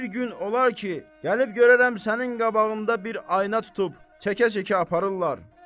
Bir gün olar ki, gəlib görərəm sənin qabağında bir ayna tutub, çəkə-çəkə aparırlar.